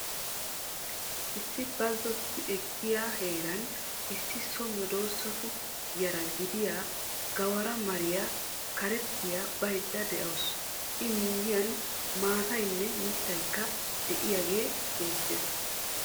Issi bazzotti ekkiya heeran issi so medoosatu yara gidiya gawara mariya karettiya baydda de'awusu I miyiyan maataynne mittaykka de'iyagee beettees,